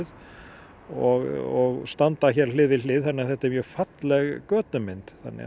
og standa hér hlið við hlið þannig að þetta er mjög falleg götumynd þannig að